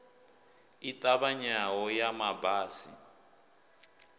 i ṱavhanyaho ya ma basi